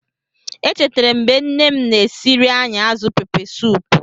Echetere m mgbe nne m na-esiere anyị azụ Pepesoopu.